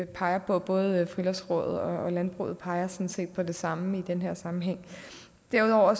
peger på både friluftsrådet og landbruget peger sådan set på det samme i den her sammenhæng derudover